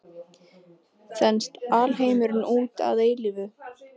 Þenst alheimurinn út að eilífu?